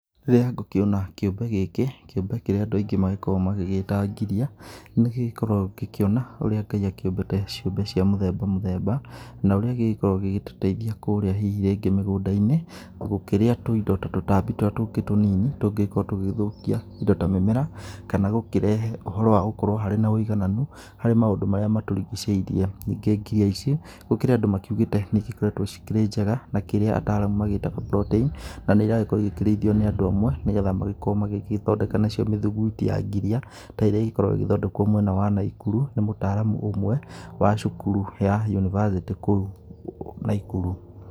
Rĩrĩa ngũkĩona kĩũmbe gĩkĩ, kĩũmbe kĩrĩa andũ aingĩ magĩkoragwo magĩgĩta ngiria, nĩ ngĩkoragwo ngĩkĩona ũrĩa Ngai akĩũmbĩte ciũmbe cia mũthemba mũthemba, na ũrĩa gĩkoragwo gĩgĩtũteithia kũrĩa hihi rĩngĩ mĩgũnda-inĩ gũkĩrĩa indo ta tũtambi tũrĩa tũngĩ tũnini, tũrĩa tũngĩgĩkorwo tũgĩthũkia indo ta mĩmera kana gũkĩrehe ũhoro wa gũkorwo harĩ na wĩigananu harĩ maũndũ marĩa matũrigicĩirie. Ningĩ ngiria ici gũkĩrĩ andũ makĩugĩte nĩ igĩkoretwo cikĩrĩ njega na kĩrĩa ataramu metaga protein, na nĩ iragĩkorwo ikĩrĩithio nĩ andũ amwe, nĩgetha magĩkorwo magĩthondeka nacio mĩthuguiti ya ngiria ta ĩrĩa ĩgĩkoragwo ĩgĩthondekwo mwena wa Naikuru nĩ mũtaramu ũmwe wa cukuru ya yunibacĩtĩ kũu Naikuru.